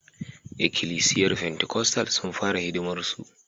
Ikilisiyar Pentikostal sun fara hidimarsu